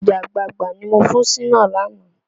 Ọ̀gẹ̀dẹ̀ àgbagbà ni mo fún Ṣínà lánàá